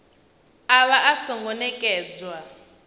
a vha a songo nekedzwa